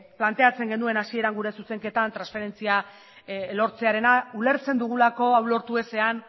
planteatzen genuen hasieran gure zuzenketan transferentzia lortzearena ulertzen dugulako hau lortu ezean